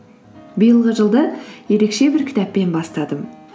биылғы жылды ерекше бір кітаппен бастадым